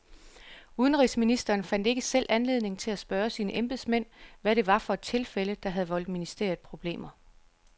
Udenrigsministeren fandt ikke selv anledning til at spørge sine embedsmænd, hvad det var for et tilfælde, der havde voldt ministeriet problemer.